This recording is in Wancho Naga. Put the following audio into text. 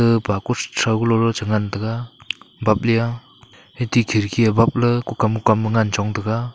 gag pa kuchow ku lolo chi ngan taga bapley a ethi khidki babley kukam kukam ngan chong taga.